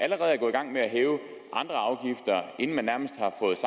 gang med at hæve andre afgifter inden man nærmest